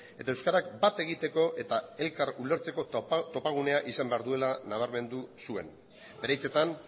eta euskarak bat egiteko eta elkar ulertzeko topagunea izan behar duela nabarmendu zuen bere hitzetan